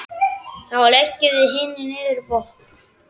Þá leggjum við hinir niður vopn.